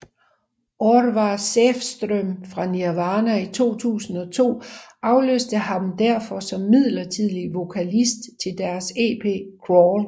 Orvar Säfström fra Nirvana 2002 afløste ham derfor som midlertidig vokalist til deres ep Crawl